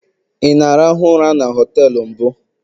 ị na-arahụ ụra na họtelu mbụ?